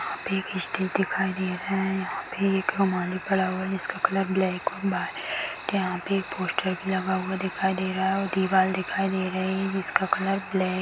एक स्टेज दिखाई दे रहा है यहाँ पे एक रुमाल भी पड़ा हुआ है जिसका कलर ब्लैक और वाइट है यहाँ पे पोस्टर भी लगा हुआ दिखाई दे रहा है और दीवाल देखाई दे रही जिसका कलर ब्लैक है।